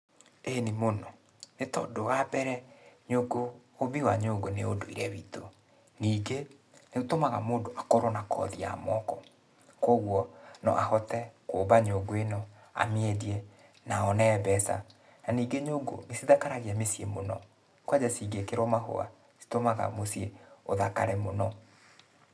Ĩni mũno, nĩtondũ wambere, nyũngũ, ũmbi wa nyũngũ nĩ ũndũire witũ. Ningĩ, nĩũtũmaga mũndũ akorwo na kothi ya moko, kuoguo no ahote kũmba nyũngũ ĩno, amĩendie, na one mbeca. Na ningĩ nyũngũ nĩcithakaragia mĩciĩ mũno. Kwanja cingĩkĩrũo mahũa, citũmaga mũciĩ ũthakare mũno.